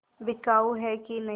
बिकाऊ है कि नहीं